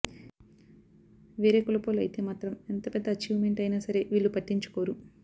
వేరే కులపోళ్లు అయితే మాత్రం ఎంత పెద్ద అచీవ్ మెంట్ అయిన సరే వీళ్లు పట్టించుకోరు